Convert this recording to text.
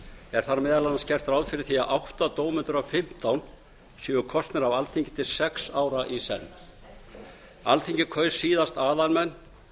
er þar meðal annars gert ráð fyrir því að átta dómendur af fimmtán séu kosnir af alþingi til sex ára í senn alþingi kaus síðast aðalmenn